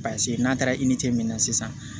Paseke n'a taara min na sisan